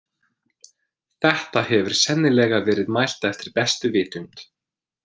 Þetta hefur sennilega verið mælt eftir bestu vitund.